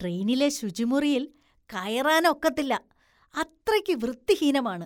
ട്രെയിനിലെ ശുചിമുറിയില്‍ കയറാന്‍ ഒക്കത്തില്ല, അത്രയ്ക്ക് വൃത്തിഹീനമാണ്